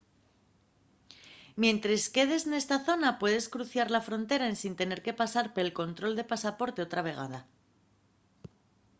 mientres quedes nesta zona puedes cruzar la frontera ensin tener que pasar pel control de pasaporte otra vegada